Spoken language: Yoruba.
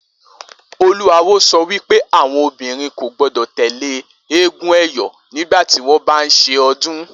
Olú awo so̩ wí pé àwo̩n obìnrin kò gbó̩dò̩ tè̩lé eégún è̩yó̩ nígbà tí wó̩n bá ń s̩e o̩dún